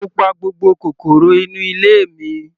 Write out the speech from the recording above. Mo pa gbogbo kòkòrò inú ilé mi.